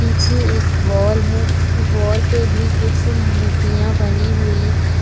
पीछे एक वॉल है वॉल पे भी कुछ मूर्तियां बनी हुई हैं।